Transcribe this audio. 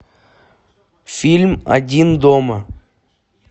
фильм один дома